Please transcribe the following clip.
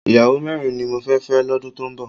Ìyàwó mẹ́rin ni mo fẹ́ fẹ́ lọ́dún tó ń bọ̀